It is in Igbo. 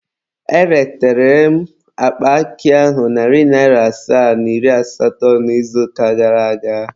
Eretere m akpa akị ahụ narị asaa na iri asatọ n'izuụka gara aga.